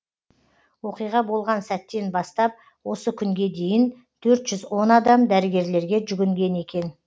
оқиға болған сәттен бастап осы күнге дейін төрт жүз он адам дәрігерлерге жүгінген екен